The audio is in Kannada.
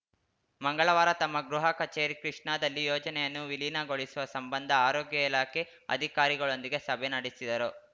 ಮಂಗಳವಾರ ತಮ್ಮ ಗೃಹ ಕಚೇರಿ ಕೃಷ್ಣಾದಲ್ಲಿ ಯೋಜನೆಯನ್ನು ವಿಲೀನಗೊಳಿಸುವ ಸಂಬಂಧ ಆರೋಗ್ಯ ಇಲಾಖೆ ಅಧಿಕಾರಿಗಳೊಂದಿಗೆ ಸಭೆ ನಡೆಸಿದರು